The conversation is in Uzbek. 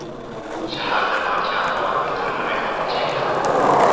Shaharda barcha avtomobillar harakati cheklandi.